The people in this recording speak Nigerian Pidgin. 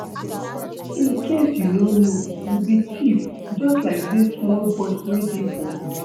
In case you no know, you be thief just like dis small boys wey dey for road